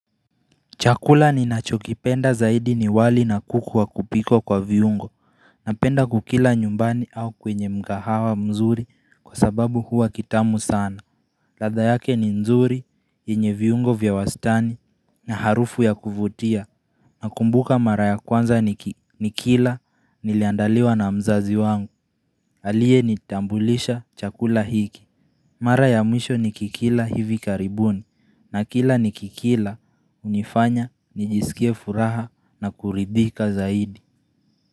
Chakula ni nachokipenda zaidi ni wali na kuku wa kupikwa kwa viungo Napenda kukila nyumbani au kwenye mkahawa mzuri kwa sababu huwa kitamu sana latha yake ni nzuri, yenye viungo vya wastani na harufu ya kuvutia Nakumbuka mara ya kwanza nikila niliandaliwa na mzazi wangu Aliyenitambulisha chakula hiki Mara ya mwisho ni kikila hivi karibuni na kila ni kikila unifanya ni jisikie furaha na kuridhika zaidi.